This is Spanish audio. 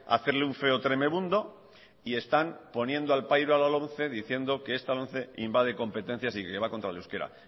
hacerle un feo tremebundo y están poniendo al pairo a la lomce diciendo que esta lomce invade competencias y que va contra el euskera